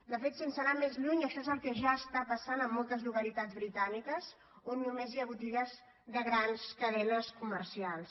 de fet sense anar més lluny això és el que ja està passant a moltes localitats britàniques on només hi ha botigues de grans cadenes co mercials